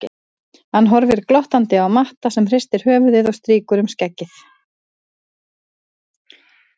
Hann horfir glottandi á Matta sem hristir höfuðið og strýkur um skeggið.